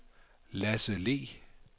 Lasse Le